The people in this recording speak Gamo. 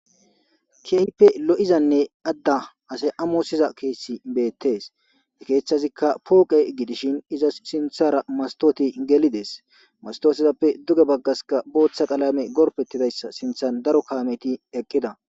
Kehippe lo'izanne ada ase amosiza keeththi beetes. He keeththazikka poqe gidishin izas sinthara mastotey gelidees. Mastotezappe duge bagaskka booththa qalame gorppetizayssa sinthan daro kameti eqida.